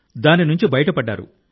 దాని నుండి బయటపడ్డారు